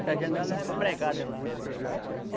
Que a janela é pregada lá.